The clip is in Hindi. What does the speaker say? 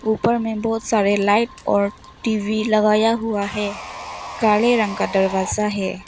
ऊपर में बहोत सारे लाइट और टी_वी लगाया हुआ है काले रंग का दरवाजा है।